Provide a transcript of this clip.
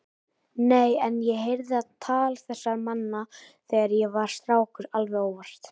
Nei, en ég heyrði á tal þessara manna þegar ég var strákur alveg óvart.